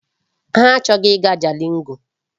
Ha achọghị ịga Jalingo.